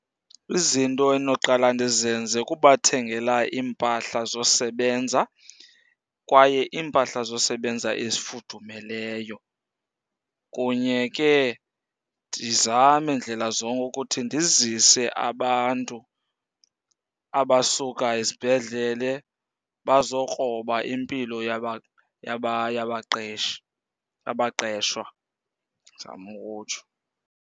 Izinto endinoqala ndizenze kubathengela iimpahla zosebenza kwaye iimpahla zosebenza ezifudumeleyo. Kunye ke ndizame ndlela zonke ukuthi ndizise abantu abasuka ezibhedlele bazokroba impilo yabaqeshi, yabaqeshwa ndizama ukutsho.